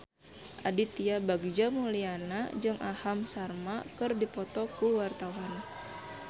Aditya Bagja Mulyana jeung Aham Sharma keur dipoto ku wartawan